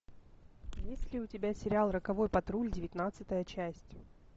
есть ли у тебя сериал роковой патруль девятнадцатая часть